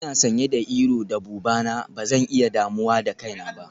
Ina sanye da iro da buba na, ba zan iya damuwa da kaina ba.